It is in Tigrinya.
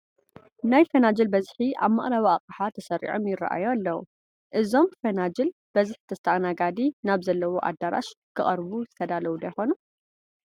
ናይ ፈናጅል በዝሒ ኣብ መቕረቢ ኣቕሓ ተሰሪዖም ይርአዩ ኣለዉ፡፡ እዞም ፈናጅል በዝሒ ተስኣናጋዲ ናብ ዘለዎ ኣዳራሽ ክቐርቡ ዝተዳለዉ ዶ ይኾኑ?